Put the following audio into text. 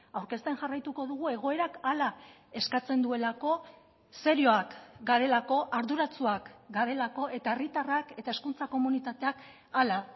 aurkezten jarraituko dugu egoerak hala eskatzen duelako serioak garelako arduratsuak garelako eta herritarrak eta hezkuntza komunitateak hala